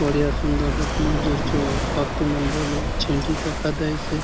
बढ़िया सुंदर दख मंझूर चो पंखी मन बले छेनडी दखा दयेसे।